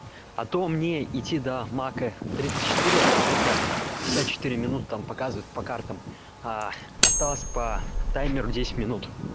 а то мне идти до мака тридцать четыре где-то пятьдесят четыре минуты там показывают по картам аа осталось по таймеру десять минут